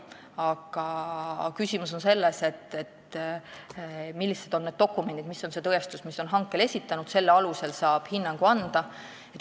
Aga küsimus on nendes dokumentides, selles tõestuses, mis on hankel esitatud – selle alusel saab hinnangu anda.